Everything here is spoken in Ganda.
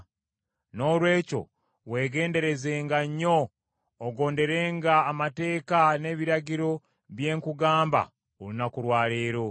Noolwekyo weegenderezenga nnyo ogonderenga amateeka n’ebiragiro bye nkugamba olunaku lwa leero.